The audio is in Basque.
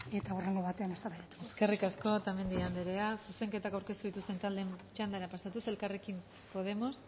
eta hurrengo batean eztabaidatuko dugu eskerrik asko otamendi andrea zuzenketak aurkeztu dituzten taldeen txandara pasatuz elkarrekin podemos